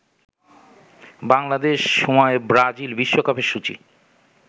বাংলাদেশ সময়ে ব্রাজিল বিশ্বকাপের সূচি